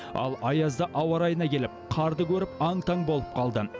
ал аязды ауа райына келіп қарды көріп аң таң болып қалды